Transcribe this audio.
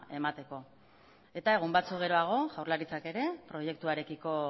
emateko eta egun batzuk geroago jaurlaritzak ere proiektuarekiko